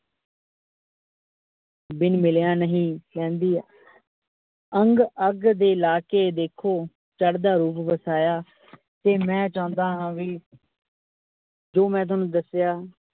ਬਿਨ ਮਿਲਿਆ ਨਹੀਂ ਰਹਿੰਦੀ ਅੰਗ ਅੱਗ ਦੇ ਲਾ ਕੇ ਦੇਖੋ, ਚੜਦਾ ਰੂਪ ਵਸਾਇਆ ਤੇ ਮੈ ਚਾਉਂਦਾ ਹਾ ਵੀ ਜੋ ਮੈ ਸੋਨੂ ਦੱਸਿਆ ।